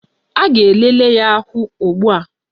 A ga-elele ya ahụ ugbua